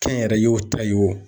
Kɛnyɛrɛye o ta ye o.